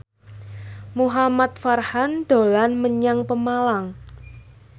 Muhamad Farhan dolan menyang Pemalang